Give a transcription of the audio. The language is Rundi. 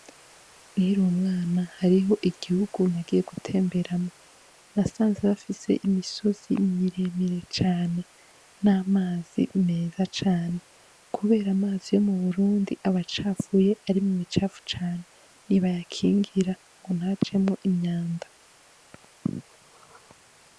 Ni rumwana hariho igihugu nagiye gutemberamwo nasanze bafise imisozi miremire cane n'amazi meza cane, kubera amazi yo mu burundi aba capfuye ari mu icapfu cane ni bayakingira ngo ntajemwo imyanda.